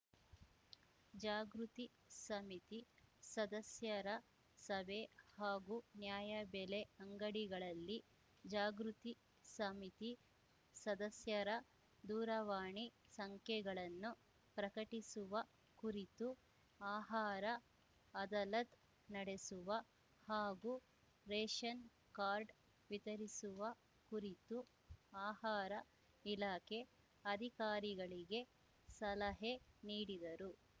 ಜಾಗೃತಿ ಸಮಿತಿ ಸದಸ್ಯರ ಸಭೆ ಹಾಗೂ ನ್ಯಾಯಬೆಲೆ ಅಂಗಡಿಗಳಲ್ಲಿ ಜಾಗೃತಿ ಸಮಿತಿ ಸದಸ್ಯರ ದೂರವಾಣಿ ಸಂಖ್ಯೆಗಳನ್ನು ಪ್ರಕಟಿಸುವ ಕುರಿತು ಆಹಾರ ಅದಲತ್‌ ನಡೆಸುವ ಹಾಗೂ ರೇಷನ್‌ ಕಾರ್ಡ್‌ ವಿತರಿಸುವ ಕುರಿತು ಆಹಾರ ಇಲಾಖೆ ಅಧಿಕಾರಿಗಳಿಗೆ ಸಲಹೆ ನೀಡಿದರು